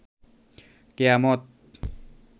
কেয়ামত